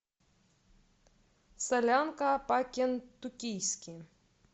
солянка по кентуккийски